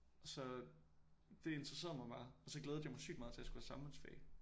Og så det interesserede mig bare og så glædede jeg mig sygt meget til jeg skulle have samfundsfag